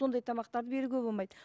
сондай тамақтарды беруге болмайды